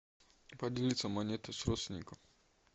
поделиться монетой с родственником